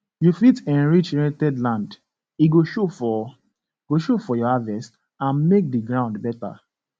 you fit enrich rented land e go show for go show for your harvest and make the ground better